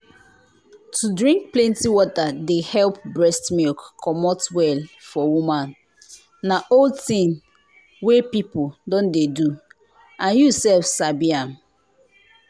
to drink plenty water dey help breast milk comot well for woman na old thing wey people don dey do and you sef sabi am